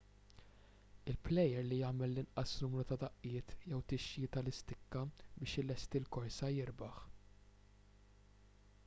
il-plejer li jagħmel l-inqas numru ta' daqqiet jew tixjir tal-istikka biex ilesti l-korsa jirbaħ